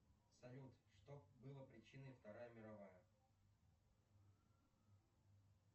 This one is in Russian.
салют что было причиной вторая мировая